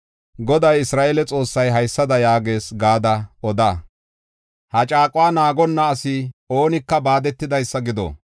Goday Isra7eele Xoossay haysada yaagees gada oda. ‘Ha caaquwa naagonna asi oonika baadetidaysa gido’.